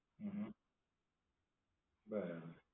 હમ બરાબર.